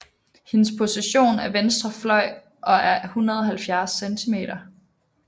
Hendes position er venstre fløj og er 170 cm